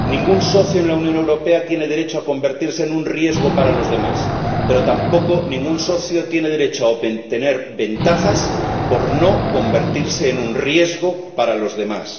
Ningún socio en la Unión Europea tiene derecho a convertirse en un riesgo para los demás, pero tampoco ningún socio tiene derecho a tener ventajas por no convertirse en un riesgo para los demás.